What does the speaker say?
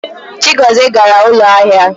Chigozie gara ụlọ ahịa.